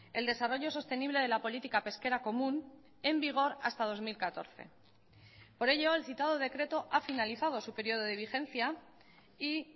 el desarrollo sostenible de la política pesquera común en vigor hasta dos mil catorce por ello el citado decreto ha finalizado su periodo de vigencia y